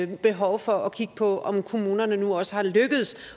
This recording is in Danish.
behov for at kigge på om kommunerne nu også er lykkedes